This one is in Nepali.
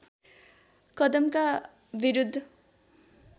कदमका विरुद्ध